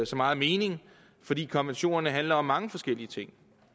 så meget mening fordi konventionerne handler om mange forskellige ting